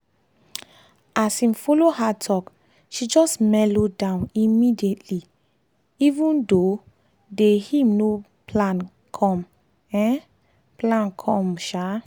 as him follow her talk she just melo down immediately even tho day him no plan come. um plan come. um